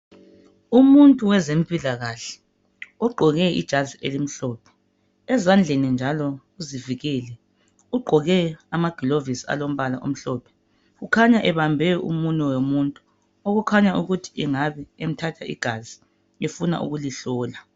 Umuntu wezempilakahle ogqoke ijazi elimhlophe ezandleni njalo uzivikele ugqoke amagilovisi alombala omhlophe. Ukhanya ebambe umunwe womuntu okukhanya ukuthi angabe emthatha igazi efuna ukulihlola.